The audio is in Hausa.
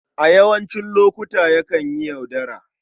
A yawancin lokuta, yakan yi yaudara.